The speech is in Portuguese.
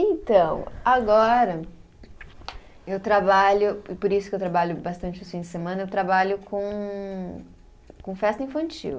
Então, agora, eu trabalho, e por isso que eu trabalho bastante os fins de semana, eu trabalho com, com festa infantil.